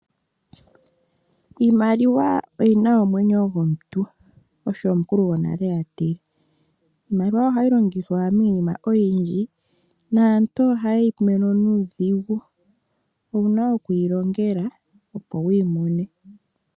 Iimaliwa oyina omwenyo gwomuntu" osho omukulu gwonale atile. Iimaliwa ohayi longithwa miinima oyindji naantu oha yeyi mono nuudhigu. Owuna oku yi longela opo wuyi mone .